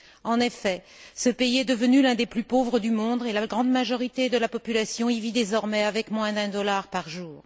En effet, ce pays est devenu l'un des plus pauvres du monde, et la grande majorité de la population y vit désormais avec moins d'un dollar par jour.